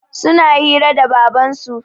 Suna hira da Babansu.